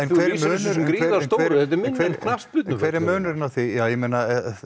sem svo gríðarstóru þetta er minni en knattspyrnuvöllur